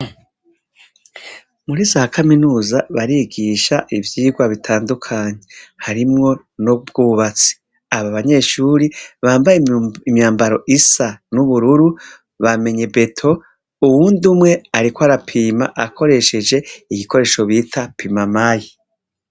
Muri za kamenuza barigisha ivyigwa bitandukanye harimwo n' ubwubatsi aba banyeshuri bambaye imyambaro isa n' ubururu bamenye beto uyundi umwe ariko arapima akoresheje igikoresho bita pimamayi.